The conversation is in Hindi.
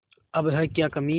अब है क्या कमीं